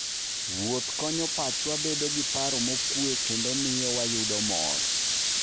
Wuoth konyo pachwa bedo gi paro mokuwe kendo miyo wayud mor.